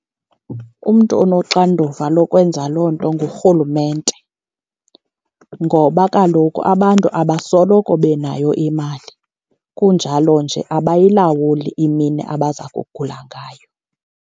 Umntu onoxanduva lokwenza loo nto ngurhulumente. Ngoba kaloku abantu abasoloko benayo imali, kunjalo nje abayilawuli imini abaza kugula ngayo.